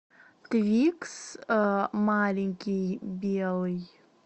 твикс маленький белый